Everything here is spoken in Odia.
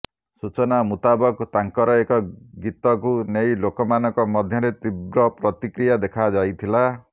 ସୂଚନା ମୁତାବକ ତାଙ୍କର ଏକ ଗୀତକୁ ନେଇ ଲୋକମାନଙ୍କ ମଧ୍ୟରେ ତୀବ୍ର ପ୍ରତିକ୍ରିୟା ଦେଖା ଯାଇଥିଲା